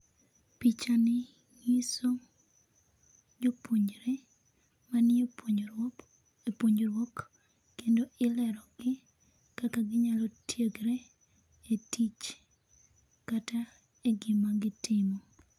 picha ni nyiso jopuonjre manie puonjruok e puonjruok kendo ilerogi kendo ilerogi kaka ginyalo tiegre etich kata e gima gitimo.